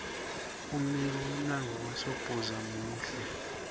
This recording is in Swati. umbiko mlanduo wasdbhuza mule